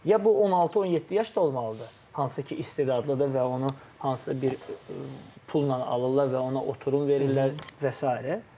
Ya bu 16-17 yaşda olmalıdır, hansı ki, istedadlıdır və onu hansısa bir pulla alırlar və ona oturum verirlər və sairə.